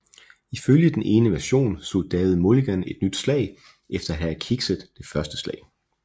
Ifølge den ene version slog David Mulligan et nyt slag efter at have kikset det første slag